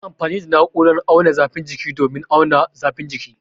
An yi amfani da na'urar auna zafin jiki domin auna zafin jikina